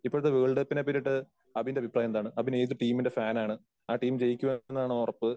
ഇപ്പോഴത്തെ വേൾഡ് കപ്പിനെ പറ്റിയിട്ട് അബിന്റെ അഭിപ്രായം എന്താണ്? അബിൻ ഏത് ടീമിന്റെ ഫാൻ ആണ്? ആ ടീം ജയിക്കുമെന്നാണോ ഉറപ്പ്?